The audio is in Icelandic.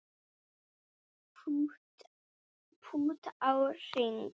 Pútt á hring